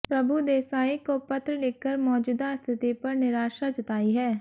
प्रभुदेसाई को पत्र लिखकर मौजूदा स्थिति पर निराशा जताई है